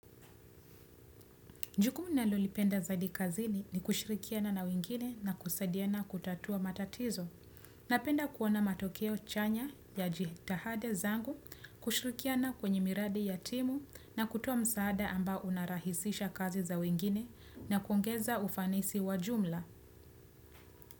Jukumu ninalolipenda zaidi kazini ni kushirikiana na wengine na kusadiana kutatua matatizo. Napenda kuona matokeo chanya ya jitihada zangu, kushirikiana kwenye miradi ya timu na kutoa msaada ambao unarahisisha kazi za wengine na kuongeza ufanisi wa jumla.